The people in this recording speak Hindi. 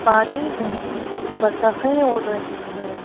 पानी में बतखें उड़ रही हैं।